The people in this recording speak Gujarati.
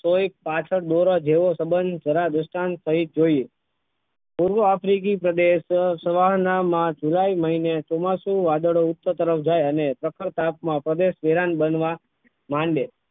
કોઇ પાછળ દોરા જેવો સબંધ જરા દ્રષ્ટાંત પહી જોઈએ પૂર્વ આફ્રીકી પ્રદેશ સવાર ના મા july મહિને ચોમાસું વાદળો ઉચ્ચ તરફ જાઈ અને પ્રખર તાપ માં પ્રદેશ ધ્યાન બનવા માંડે